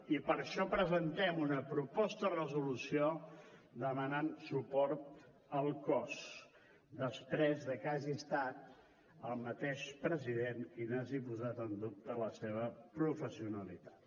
i per això presentem una proposta de resolució que demana suport al cos després que hagi estat el mateix president qui n’hagi posat en dubte la professionalitat